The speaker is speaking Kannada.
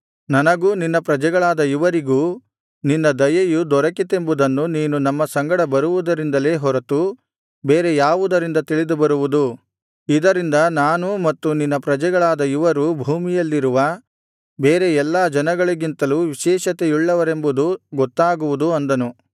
ನನಗೂ ನಿನ್ನ ಪ್ರಜೆಗಳಾದ ಇವರಿಗೂ ನಿನ್ನ ದಯೆಯು ದೊರಕಿತೆಂಬುದು ನೀನು ನಮ್ಮ ಸಂಗಡ ಬರುವುದರಿಂದಲೇ ಹೊರತು ಬೇರೆ ಯಾವುದರಿಂದ ತಿಳಿದುಬರುವುದು ಇದರಿಂದ ನಾನೂ ಮತ್ತು ನಿನ್ನ ಪ್ರಜೆಗಳಾದ ಇವರೂ ಭೂಮಿಯಲ್ಲಿರುವ ಬೇರೆ ಎಲ್ಲಾ ಜನಗಳಿಗಿಂತಲೂ ವಿಶೇಷತೆಯುಳ್ಳವರೆಂಬುದು ಗೊತ್ತಾಗುವುದು ಅಂದನು